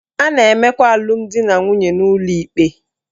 A na-emekwa alụmdinanwunye n'ụlọ ikpe